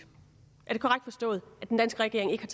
er det korrekt forstået at den danske regering ikke